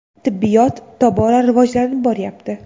Tibbiyot tobora rivojlanib boryapti.